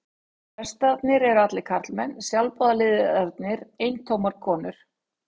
Prestarnir eru allir karlmenn, sjálfboðaliðarnir eintómar kon